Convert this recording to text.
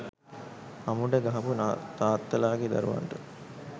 අමුඩ ගහපු තාත්තලගේ දරුවන්ට